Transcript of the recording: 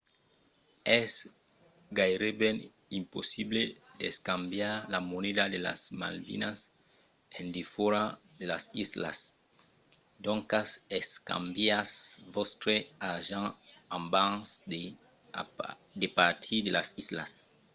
es gaireben impossible d'escambiar la moneda de las malvinas en defòra de las islas doncas escambiatz vòstre argent abans de partir de las islas